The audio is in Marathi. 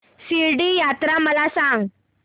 शिर्डी यात्रा मला सांग